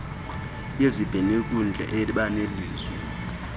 yezibhenoyinkundla eba nelizwi